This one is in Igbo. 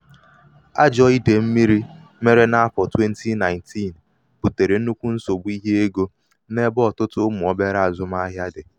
ajọ̄ idèyì mmīrī mere n’afọ̀ 2019 bùtèrè nnukwu nsògbu ihe egō n’ebe ọtụtụ ụmụ̀ obere azụmahịa dị̀.